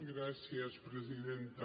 gràcies presidenta